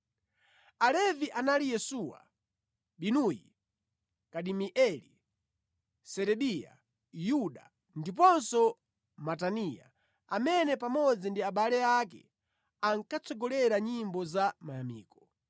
Alevi anali Yesuwa, Binuyi, Kadimieli, Serebiya, Yuda, ndiponso Mataniya, amene pamodzi ndi abale ake ankatsogolera nyimbo za mayamiko.